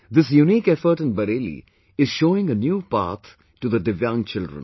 This unique effort in Bareilly is showing a new path to the Divyang children